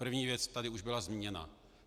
První věc tu už byla zmíněna.